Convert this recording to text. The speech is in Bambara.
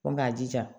k'a jija